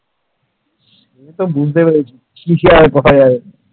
বুঝতে পেরেছি কিছু আর আর করা যাবে।